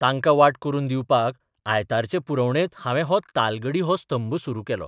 तांकां वाट करून दिवपाक आयतारचे पुरवणेंत हावें हो तालगडी हो स्तंभ सुरू केल्लो.